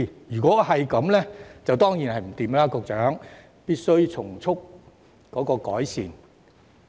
如果情況屬實，局長當然不能坐視不理，必須從速改善。